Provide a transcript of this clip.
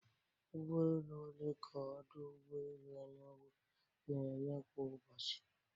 Ụgbọ elu ole ka ọdụ ụgbọ elu Enugu na-eme kwa ụbọchị?